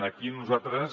aquí nosaltres